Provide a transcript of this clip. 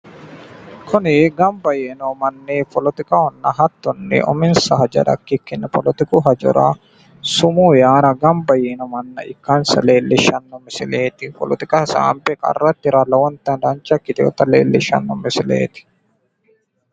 kuni ganba yee noo manni polotikahonna hattonni sumuu yaara ganba yiino manna ikkasi leellishshanno misileeti. Polotika hasaabbe qarra tire lowonta dancha ikkitinota eellishshanno misileeti.